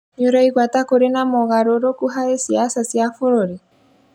Nĩũraigua ta kũrĩ na mogarũrũku harĩ ciaca cia bũruri?